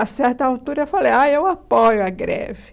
A certa altura eu falei, ah, eu apoio a greve.